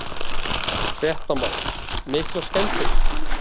Fréttamaður: Miklar skemmdir?